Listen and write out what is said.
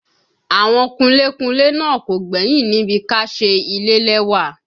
Àwọn kunlé kunlé náà kò gbẹ́yìn níbi ká ṣe ilé lẹ́wà